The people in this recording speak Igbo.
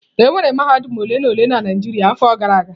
Enwere mahadum ole na ole na Naijiria afọ gara aga.